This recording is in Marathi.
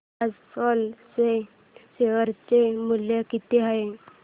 आज सेल चे शेअर चे मूल्य किती आहे